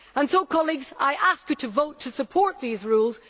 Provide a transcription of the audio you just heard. So, colleagues, I ask you to vote to support these rules.